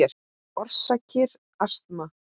Orsakir astma